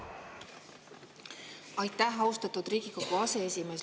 Aitäh, austatud Riigikogu aseesimees!